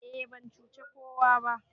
e ban cuci kowa ba